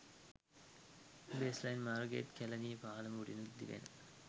baseline මාර්ගයේත් කැලණිය පාලම උඩින් දිවෙන